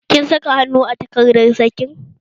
Kin saka hannu a takardar sakin?